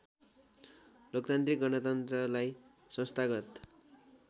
लोकतान्त्रिक गणतन्त्रलाई संस्थागत